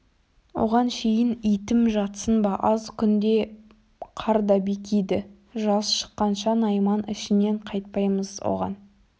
оған шейін итім жатсын ба аз күнде қар да бекиді жаз шыққанша найман ішінен қайтпаймыз оған